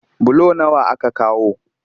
Bulo nawa aka kawo?